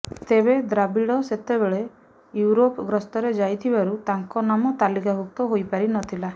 ତେବେ ଦ୍ରାବିଡ ସେତେବେଳେ ୟୁରୋପ ଗସ୍ତରେ ଯାଇଥିବାରୁ ତାଙ୍କ ନାମ ତାଲିକାଭୁକ୍ତ ହୋଇ ପାରିନଥିଲା